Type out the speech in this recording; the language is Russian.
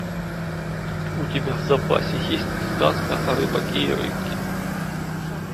у тебя в запасе есть сказка о рыбаке и рыбке